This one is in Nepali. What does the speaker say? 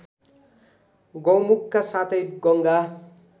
गौमुखका साथै गङ्गा